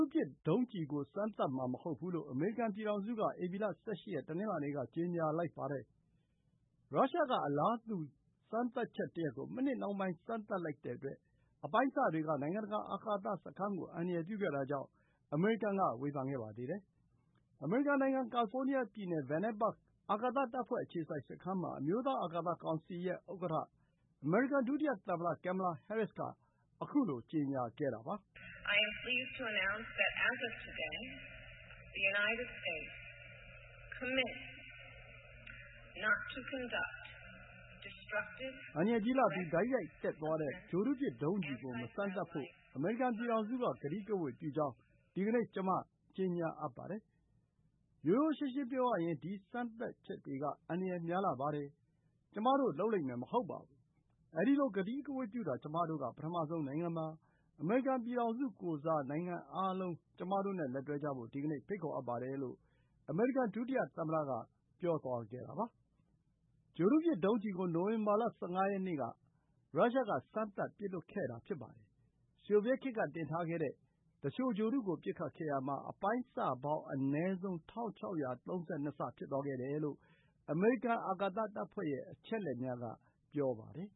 ုပစ်ဒုံးကျည်ကို စမ်းသပ်မှာမဟုတ်ဘူးလို့ အမေရိကန်ပြည်ထောင်စုက ဧပြီလ ၁၈ ရက် တနင်္လာနေ့က ကြေညာလိုက်ပါတယ်။ မကြာခင်က ရုရှားက အလားတူ စမ်းသပ်ချက်တရပ်ကို စမ်းသပ်လိုက်တဲ့အတွက် အပိုင်းအစတွေက နိုင်ငံတကာ အာကာသ စခန်းကို အန္တရာယ်ပြုခဲ့တာကြောင့် အမေရိကန်ကဝေဖန်ခဲ့ပါသေးတယ်။ အမေရိကန် နိုင်ငံ ကာလီဖိုးနီးယားပြည်နယ် Vandenberg အာကာသတပ်ဖွဲ့ အခြေစိုက်စခန်းမှာ အမျိုးသားအာကာသကောင်စီဥက္ကဋ္ဌ အမေရိကန် ဒုတိယသမ္မတ Kamala Harris က ခုလို ကြေညာခဲ့တာပါ။ “အန္တရာယ်ကြီးလှပြီး တိုက်ရိုက်တက်သွားတဲ့ ဂြိုဟ်တုပစ် ဒုံးကျည်ကိုမစမ်းသပ်ဖို့ အမေရိကန်ပြည်ထောင်စုက ကတိကဝတ်ပြုကြောင်း ဒီကနေ့ ကျမ ကြေညာအပ်ပါတယ်။ ရိုးရိုးရှင်းရှင်း ပြောရရင် ဒီ စမ်းသပ်ချက်တွေက အန္တရာယ်များလှပါတယ်။ ကျမတို့ လုပ်လိမ့်မယ်မဟုတ်ဘူး။ အဲဒီလို ကတိကဝတ်ပြုတာ ကျမတို့က ပထမဆုံးနိုင်ငံပါ။ အမေရိကန်ပြည်ထောင်စုကိုယ်စား၊ နိုင်ငံအားလုံး ကျမတို့နဲ့လက်တွဲကြဖို့ ဒီကနေ့ ဖိတ်ခေါ်အပ်ပါတယ်လို့ အမေရိကန် ဒုတိယသမ္မတက ပြောသွားတာပါ။ ဂြိုဟ်တုပစ်ဒုံးကျည်ကို နိုဝင်ဘာလ ၁၅ ရက်နေ့က ရုရှားက စမ်းသပ်ပစ်လွှတ်ခဲ့တာပါ။ ဆိုဗီယက်ခေတ်က တင်ထားခဲ့တဲ့ သူလျှို ဂြိုဟ်တုကို ပစ်ခတ်ခဲ့ရာမှာ အပိုင်းအစပေါင်း အနည်းဆုံး ၁,၆၃၂ စ ဖြစ်သွားခဲ့တယ်လို့ အမေရိကန်အာကာသတပ်ဖွဲ့ရဲ့ အချက်အလက်များ က ပြောပါတယ်